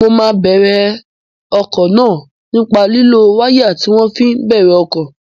Mo máa bèrè ọkọ̀ náà nípa lílo wáyà tí wọ́n fi ń bẹ̀rẹ̀ ọkọ̀